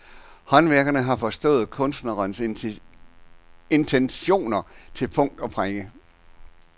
Håndværkerne har forstået kunstnerens intentioner til punkt og prikke.